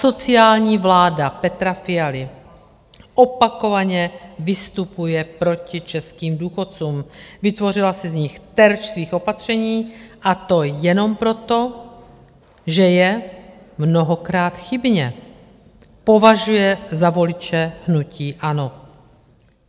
Asociální vláda Petra Fialy opakovaně vystupuje proti českým důchodcům, vytvořila si z nich terč svých opatření, a to jenom proto, že je - mnohokrát chybně - považuje za voliče hnutí ANO.